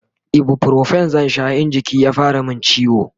ibuprofen zan Sha in jiki ya fara min ciwo